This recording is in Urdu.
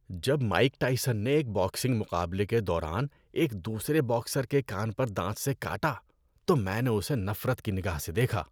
جب مائیک ٹائسن نے ایک باکسنگ مقابلے کے دوران ایک دوسرے باکسر کے کان پر دانت سے کاٹا تو میں نے اسے نفرت کی نگاہ سے دیکھا۔